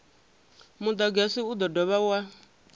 mudagasi u do dovha wa